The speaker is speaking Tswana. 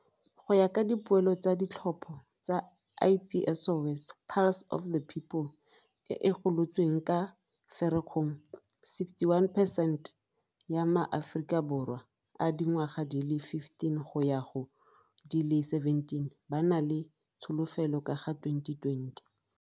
Go ya ka dipoelo tsa ditlhopho tsa Ipsos Pulse of the People e e golotsweng ka Firikgong, 61 percent ya maAforika Borwa a dingwaga di le 15 go ya go di le 17 ba na le tsholofelo ka ga 2020.